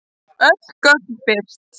Öll gögn birt